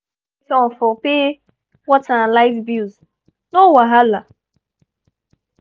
we gree say we go take turn for pay water and light bills no wahala!